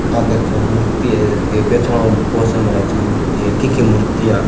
आ देखो मूर्ति है थे पहचानो कोई स महाराज की मूर्ती है कीकी मूर्ती है आ।